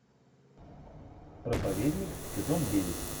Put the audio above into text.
проповедник сезон девять